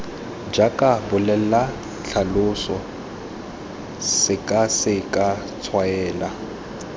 jaaka bolela tlhalosa sekaseka tshwaela